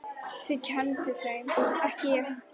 Þið kennduð þeim, ekki ég.